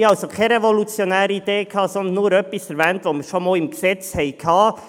» Ich hatte also keine revolutionäre Idee, sondern nur etwas erwähnt, was bereits im Gesetz stand.